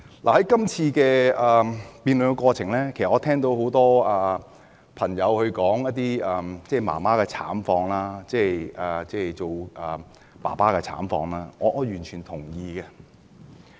在今次辯論的過程中，我聽到很多議員提到媽媽、爸爸的慘況，我完全同意。